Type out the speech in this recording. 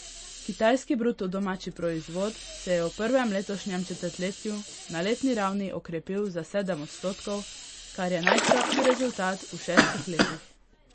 Kitajski bruto domači proizvod se je v prvem letošnjem četrtletju na letni ravni okrepil za sedem odstotkov, kar je najslabši rezultat v šestih letih.